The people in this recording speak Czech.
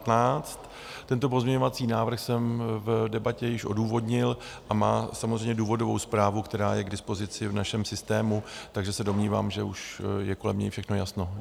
Tento pozměňovací návrh jsem v debatě již odůvodnil a má samozřejmě důvodovou zprávu, která je k dispozici v našem systému, takže se domnívám, že už je kolem něj všechno jasno.